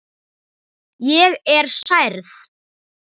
Ég er særð.